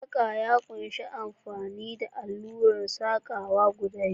Saƙa ya ƙunshi amfani da alluran saƙawa guda biyu.